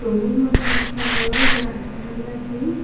Room -এর মধ্যে একটা বড় গ্লাস লাগাইলাসেম।